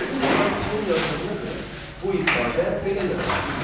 Qədim tarixçinin yazdığına görə bu ifadə belə yaranmışdır.